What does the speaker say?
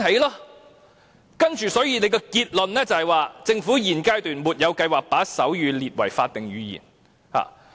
最後政府的結論是"政府現階段沒有計劃把手語列為法定語言。